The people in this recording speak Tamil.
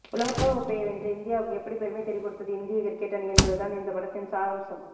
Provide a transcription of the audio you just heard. உலகக்கோப்பையை வென்று இந்தியாவுக்கு எப்படி பெருமை தேடிக் கொடுத்தது இந்திய கிரிக்கெட் அணி என்பதுதான் இந்தப் படத்தின் சாரம்சம்